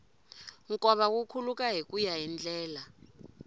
nkova wu khuluka hikuya hi ndlela